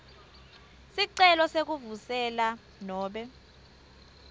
sicelo sekuvuselela nobe